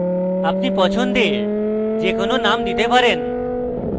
আপনি পছন্দের যে কোনো name দিতে পারেন